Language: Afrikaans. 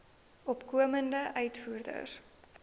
opkomende uitvoerders